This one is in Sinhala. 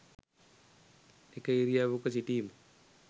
එක ඉරියව්වක සිටීම